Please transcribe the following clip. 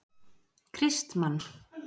Kristmann